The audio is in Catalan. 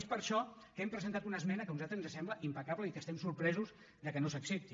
és per això que hem presentat una esmena que a nosaltres ens sembla impecable i que estem sorpresos que no s’accepti